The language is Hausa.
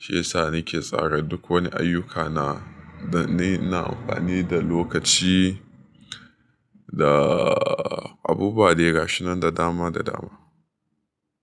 Shiyasa nike tsara duk wani ayyukana danayi ina amfani da lokaci da abubuwa dai gashinan da dama da dama.